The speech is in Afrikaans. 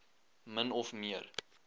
min of meer